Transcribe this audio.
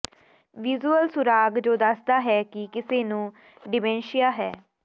visual ਸੁਰਾਗ ਜੋ ਦੱਸਦਾ ਹੈ ਕਿ ਕਿਸੇ ਨੂੰ ਡਿਮੈਂਸ਼ੀਆ ਹੈ